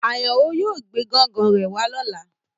Ayano yóò gbe gan-gan re wa lọla